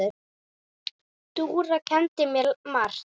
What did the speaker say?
Dúra kenndi mér margt.